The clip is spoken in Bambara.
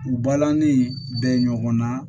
U balani bɛ ɲɔgɔn na